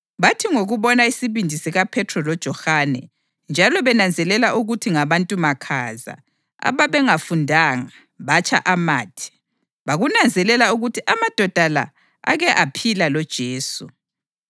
Bathi ngokubona isibindi sikaPhethro loJohane njalo benanzelela ukuthi ngabantu makhaza, ababengafundanga, batsha amathe, bakunanzelela ukuthi amadoda la ake aphila loJesu.